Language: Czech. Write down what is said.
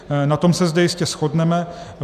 Na tom se zde jistě shodneme.